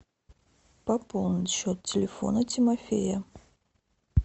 пополнить счет телефона тимофея